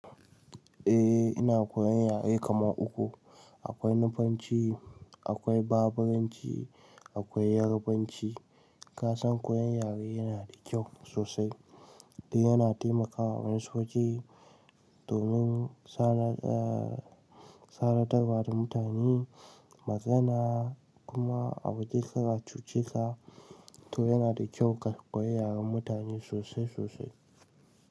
Eh ina koyan yare kaman uku. Akwai Nufanci, akwai Baburanci, akwai Yarabanci. Ka san koyan yare yana da kyau sosai. Dan yana taimakawa a wayansu waje domin sanar, eh sanarwa da mutane magana kuma a waje ka ratso cika. To yana da kyau ka koyi yaren mutane sosai sosai.